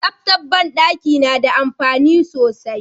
Tsaftar banɗaki nada amfani sosai